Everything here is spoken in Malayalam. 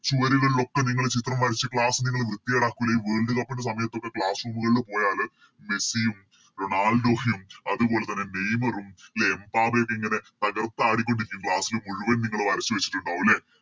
ചുവരുകളിലൊക്കെ നിങ്ങള് ചിത്രം വരച്ച് Class നിങ്ങള് വൃത്തികേടാക്കൂലെ ഈ Worldcup ൻറെ സമയത്തൊക്കെ Class room കളില് പോയാല് മെസ്സിയും റൊണാൾഡോയും അതുപോലെതന്നെ നെയ്‌മറും ലെ എംബപ്പേയൊക്കെ ഇങ്ങനെ തകർത്ത് ആടിക്കൊണ്ടിരിക്കും Class മുഴുവൻ നിങ്ങള് വരച്ച് വെച്ചിട്ടുണ്ടാവും ലെ